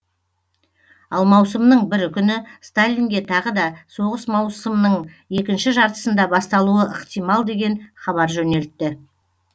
ал маусымның бірінші күні сталинге тағы да соғыс маусымның екінші жартысында басталуы ықтимал деген хабар жөнелтті